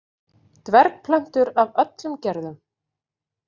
Dvergplöntur af öllum gerðum.